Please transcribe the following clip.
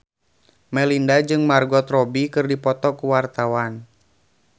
Melinda jeung Margot Robbie keur dipoto ku wartawan